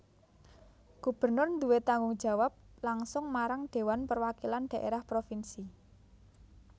Gubernur duwé tanggung jawab langsung marang Dhéwan Perwakilan Dhaérah Propinsi